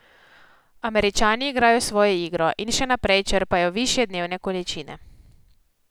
Američani igrajo svojo igro in še naprej črpajo višje dnevne količine.